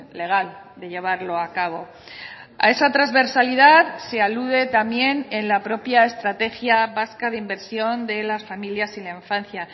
legal de llevarlo a cabo a esa transversalidad se alude también en la propia estrategia vasca de inversión de las familias y la infancia